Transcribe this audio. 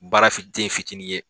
Baara fin den fitinin ye